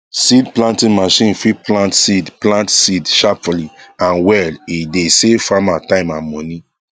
seed planting machine fit plant seed plant seed sharply and well e dey save farmer time and money